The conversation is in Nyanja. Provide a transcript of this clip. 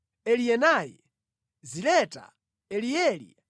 Elienai, Ziletai, Elieli,